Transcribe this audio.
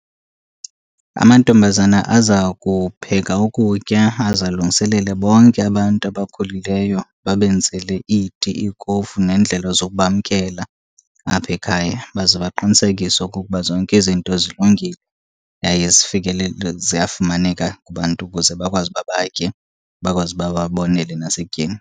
Amantombazana aza kupheka ukutya aze alungiselele bonke abantu abakhulileyo babenzele iti, ikofu neendlela zokubamkela apha ekhaya. Baze baqinisekise okokuba zonke izinto zilungile yaye zifikelele, ziyafumaneka kubantu ukuze bakwazi uba batye bakwazi uba bonele nasekutyeni.